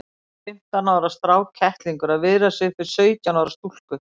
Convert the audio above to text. Fimmtán ára strákkettlingur að viðra sig upp við sautján ára stúlku!